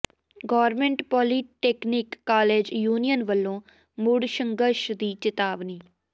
government polytechnic college union ਵਲੋਂ ਮੁੜ ਸੰਘਰਸ਼ ਦੀ ਚਿਤਾਵਨੀ